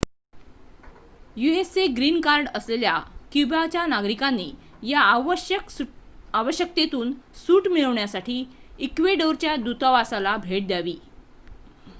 युएसचे green card असलेल्या क्युबाच्या नागरिकांनी या अवश्यकतेतून सूट मिळवण्यासाठी इक्वेडोरच्या दूतावासाला भेट द्यावी